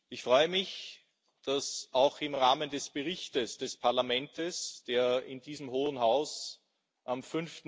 Ich freue mich, dass sich auch im Rahmen des Berichts des Parlaments, der in diesem Hohen Haus am